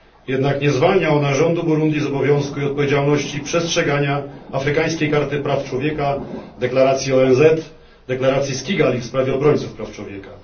Jednak nie zwalnia ona rządu Burundi z obowiązku i odpowiedzialności przestrzegania afrykańskiej karty praw człowieka, deklaracji ONZ, deklaracji z Kigali w sprawie obrońców praw człowieka.